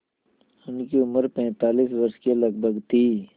उनकी उम्र पैंतालीस वर्ष के लगभग थी